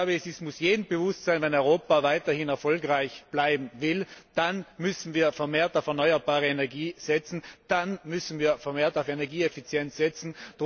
Es muss jedem bewusst sein Wenn Europa weiterhin erfolgreich bleiben will, dann müssen wir vermehrt auf erneuerbare Energie setzen, dann müssen wir vermehrt auf Energieeffizienz setzen.